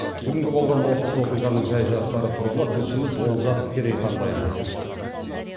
бүгінгі болған оқыс оқиғаның жай жапсары туралы тілшіміз олжас керейхан баяндайды